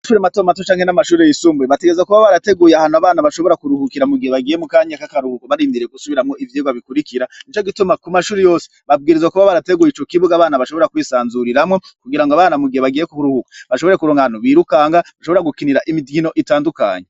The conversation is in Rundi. Amashure mato mato canke n'amashure yisumbuye, bategerezwa kuba barateguye ahantu abana ashobora kuruhukira, mugihe bagiye mukanya kaka ruhuko ,barindiriye gusubiramwo ivyirwa bikurikira, nico gituma kumashure yose babwirizwa kuba barateguye ico kibuga abana bashobora kwisanzuriramwo, kugirango abana mugihe bagiye kuruhuka bashobore kuronka ahantu birukanga, bashobora gukinira imikino itandukanye.